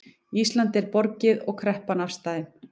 Íslandi er borgið og kreppan afstaðin